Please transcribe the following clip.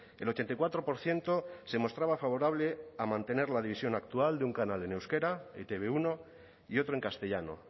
el ochenta y cuatro por ciento se mostraba favorable a mantener la división actual de un canal en euskera etb uno y otro en castellano